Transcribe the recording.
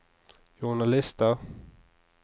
journalister